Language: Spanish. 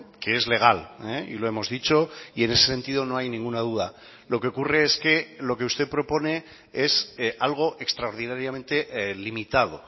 que es legal y lo hemos dicho y en ese sentido no hay ninguna duda lo que ocurre es que lo que usted propone es algo extraordinariamente limitado